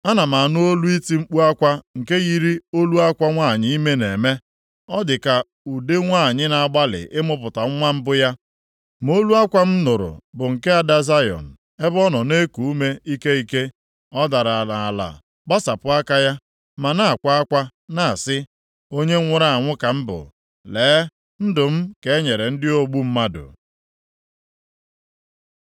Ana m anụ olu iti mkpu akwa nke yiri olu akwa nwanyị ime na-eme, ọ dị ka ude nwanyị na-agbalị ịmụpụta nwa mbụ ya. Ma olu akwa m nụrụ bụ nke ada Zayọn, ebe ọ nọ na-eku ume ike ike. Ọ dara nʼala gbasapụ aka ya, ma na-akwa akwa na-asị, “Onye nwụrụ anwụ ka m bụ! Lee, ndụ m ka e nyere ndị ogbu mmadụ.”